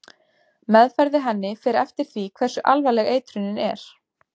Meðferð við henni fer eftir því hversu alvarleg eitrunin er.